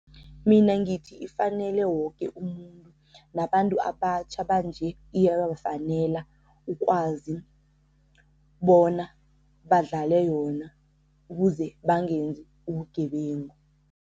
Mina ngithi ifanele woke umuntu nabantu abatjha banje iyabafanele, ukwazi bona badlale yona ukuze bangenzi ubugebengu.